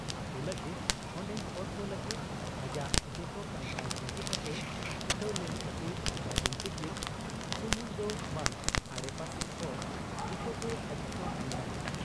ᱟᱹᱛᱩ ᱞᱟᱹᱜᱤᱫ ᱚᱱᱰᱮᱱ ᱦᱚᱲᱠᱚ ᱞᱟᱹᱜᱤᱫ ᱟᱡᱟᱜ ᱡᱚᱛᱚ ᱠᱟᱢᱠᱟᱡᱽ ᱵᱟᱹᱜᱤ ᱠᱟᱛᱮ ᱪᱷᱩᱴᱟᱹᱣ ᱞᱮᱱ ᱠᱷᱟᱹᱛᱤᱨ ᱵᱟᱹᱡᱩᱱ ᱛᱤᱠᱤᱱ ᱥᱩᱢᱩᱝ ᱫᱚ ᱵᱟᱝ, ᱟᱰᱮᱯᱟᱥᱮ ᱦᱚᱲ ᱡᱚᱛᱚᱜᱮ ᱟᱹᱰᱤᱠᱚ ᱢᱟᱹᱱ ᱟᱭᱟ ᱾